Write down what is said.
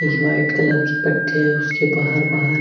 white colour की पटी है उसके बाहर बाहर --